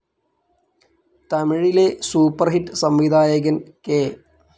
തമിഴിലെ super hit സംവിധായകൻ K.